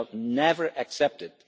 We shall never accept it.